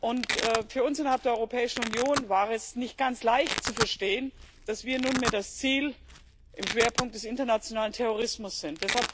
Und für uns innerhalb der Europäischen Union war es nicht ganz leicht zu verstehen, dass wir nunmehr das Ziel im Schwerpunkt des internationalen Terrorismus sind.